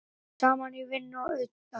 Saman í vinnu og utan.